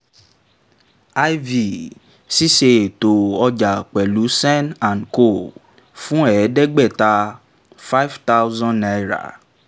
iv ṣíṣe ètò ọjà pẹ̀lú sen and co fún ẹ̀ẹ́dẹ́gbáaàta five thousand naira